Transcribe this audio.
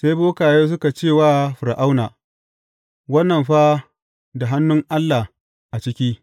Sai bokaye suka ce wa Fir’auna, Wannan fa da hannun Allah a ciki.